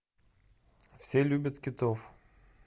все любят китов